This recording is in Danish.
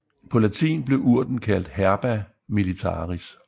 På latin blev urten kaldt herba militaris